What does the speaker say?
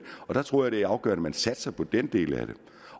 jeg tror det er afgørende at man satser på den del af det